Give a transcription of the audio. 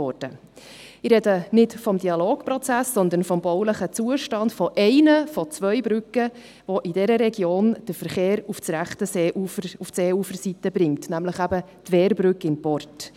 Ich spreche nicht vom Dialogprozess, sondern vom baulichen Zustand von einer der zwei Brücken, die in dieser Region den Verkehr auf die rechte Seeuferseite bringen, nämlich von der Wehrbrücke in Port.